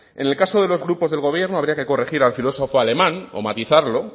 en el caso de los grupos del gobierno habría que corregir al filósofo alemán o matizarlo